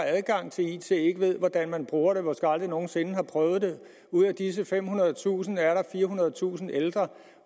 har adgang til it og ikke ved hvordan man bruger det og måske aldrig nogen sinde har prøvet det ud af disse femhundredetusind er der firehundredetusind ældre